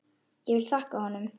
Ég vil þakka honum.